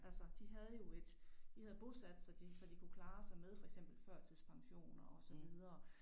Altså de havde jo et. De havde bosat sig de så de kunne klare sig med for eksempel førtidspensioner og så videre